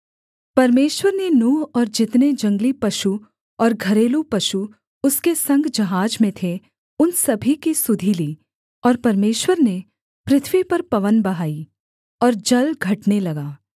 परमेश्वर ने नूह और जितने जंगली पशु और घरेलू पशु उसके संग जहाज में थे उन सभी की सुधि ली और परमेश्वर ने पृथ्वी पर पवन बहाई और जल घटने लगा